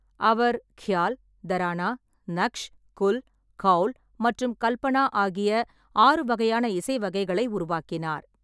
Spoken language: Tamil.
அவர் க்யால், தரானா, நக்ஷ், குல், கௌல் மற்றும் கல்பனா ஆகிய ஆறு வகையான இசை வகைகளை உருவாக்கினார்.